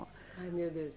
Ai, meu Deus.